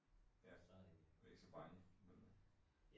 Ja, men ikke så bange nødvendigvis